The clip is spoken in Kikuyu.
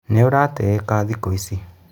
Nĩ uratiyĩka thĩkũ ici.